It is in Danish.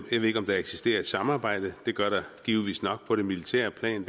ved ikke om der eksisterer et samarbejde det gør der givetvis nok på det militære plan